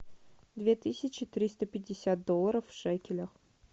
две тысячи триста пятьдесят долларов в шекелях